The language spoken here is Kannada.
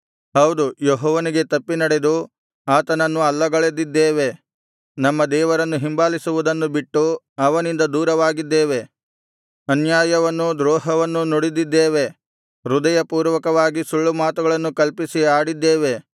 ಹೌದು ಯೆಹೋವನಿಗೆ ತಪ್ಪಿ ನಡೆದು ಆತನನ್ನು ಅಲ್ಲಗಳೆದಿದ್ದೇವೆ ನಮ್ಮ ದೇವರನ್ನು ಹಿಂಬಾಲಿಸುವುದನ್ನು ಬಿಟ್ಟು ಅವನಿಂದ ದೂರವಾಗಿದ್ದೇವೆ ಅನ್ಯಾಯವನ್ನೂ ದ್ರೋಹವನ್ನೂ ನುಡಿದಿದ್ದೇವೆ ಹೃದಯಪೂರ್ವಕವಾಗಿ ಸುಳ್ಳುಮಾತುಗಳನ್ನು ಕಲ್ಪಿಸಿ ಆಡಿದ್ದೇವೆ